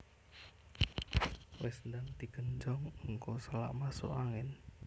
Wis ndang di genjong engko selak masuk angin